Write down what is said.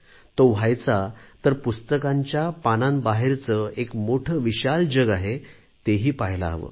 तो व्हायचा तर पुस्तकांच्या पानांबाहेरचे एक मोठे विशाल जग आहे तेही पहायला हवे